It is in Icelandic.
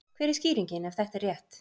hver er skýringin ef þetta er rétt